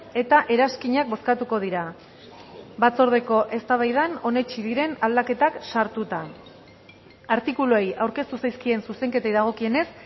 eta eranskinak bozkatuko dira batzordeko eztabaidan onetsi diren aldaketak sartuta artikuluei aurkeztu zaizkien zuzenketei dagokienez